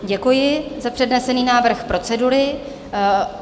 Děkuji za přednesený návrh procedury.